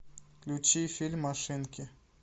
включи фильм машинки